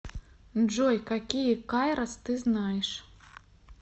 джой какие кайрос ты знаешь